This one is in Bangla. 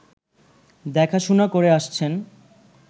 দেখাশুনা করে আসছেন